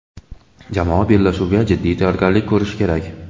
Jamoa bellashuvga jiddiy tayyorgarlik ko‘rishi kerak.